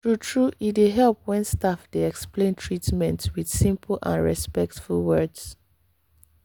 true-true e dey help when staff dey explain treatment with simple and respectful words.